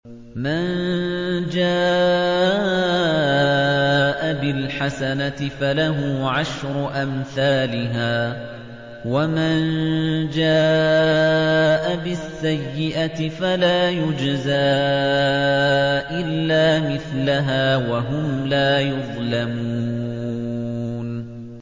مَن جَاءَ بِالْحَسَنَةِ فَلَهُ عَشْرُ أَمْثَالِهَا ۖ وَمَن جَاءَ بِالسَّيِّئَةِ فَلَا يُجْزَىٰ إِلَّا مِثْلَهَا وَهُمْ لَا يُظْلَمُونَ